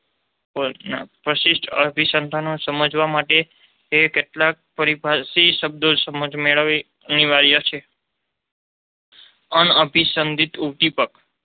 પ્રશિષ્ટ અભિસંધાનને સમજવા માટે તેના કેટલાક પારિભાષિક શબ્દોની સમજ મેળવવી અનિવાર્ય છે. અનઅભિસંપિત ઉદ્દીપક